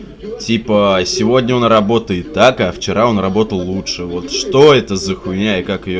типа сегодня он работает так а вчера он работал лучше вот что это за хуйня и как её